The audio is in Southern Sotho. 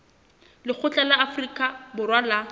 lekgotla la afrika borwa la